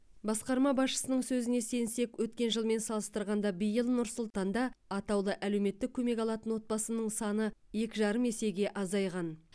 басқарма басшысының сөзіне сенсек өткен жылмен салыстырғанда биыл нұр сұлтанда атаулы әлеуметтік көмек алатын отбасы саны екі жарым есеге азайған